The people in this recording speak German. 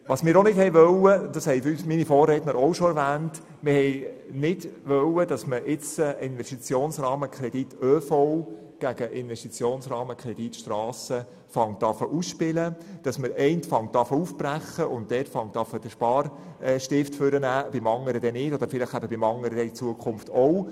Ebenfalls nicht gewollt haben wir – dies ist bereits von meinen Vorrednern erwähnt worden –, dass die Investitionsrahmenkredite ÖV und Strasse gegeneinander ausgespielt werden, indem man den einen aufbricht und den Sparstift ansetzt, dies aber beim anderen unterlässt beziehungsweise vielleicht auch dort in Zukunft tut.